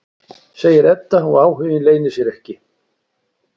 segir Edda og áhuginn leynir sér ekki.